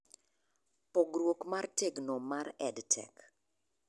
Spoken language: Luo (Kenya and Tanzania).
Pogruok mar tegno mar e EdTech